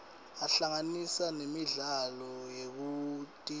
ahlanganisa nemidlalo yekutijabulisa